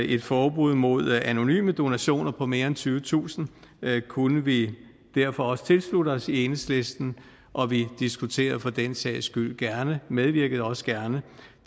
et forbud mod anonyme donationer på mere end tyvetusind kr kunne vi derfor også tilslutte os i enhedslisten og vi diskuterer for den sags skyld gerne og medvirker også gerne